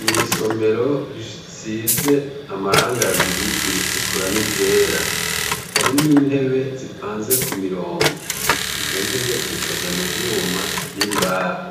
Mw'isomero risize amarangi abiri iritukura n' iryera, harimwo intebe zipanze Ku mirongo. Izo nyene zikozwe mu vyuma n' imbaho.